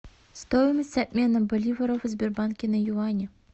стоимость обмена боливаров в сбербанке на юани